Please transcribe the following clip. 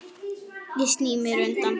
Ég sný mér undan.